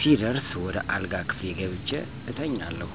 ሲደርስ ወደ አልጋ ክፍሌ ገብቸ እተኛለሁ።